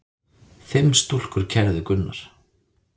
Fimm stúlkur kærðu Gunnar.